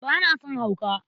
Ba na son hauka!